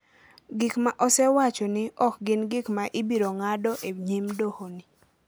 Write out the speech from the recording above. Gik ma osewacho ni ok gin gik ma ibiro ng’ado e nyim dohoni.